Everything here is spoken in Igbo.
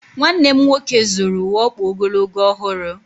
Nwanne m nwoke zụrụ uwe ọkpa ogologo ọhụrụ.